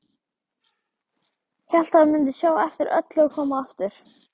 Hélt hann mundi sjá eftir öllu og koma aftur.